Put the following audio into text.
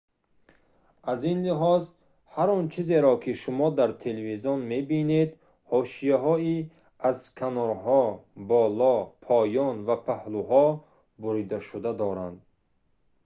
аз ин лиҳоз ҳар он чизеро ки шумо дар телевизион мебинед ҳошияҳои аз канорҳо боло поён ва паҳлӯҳо буридашуда доранд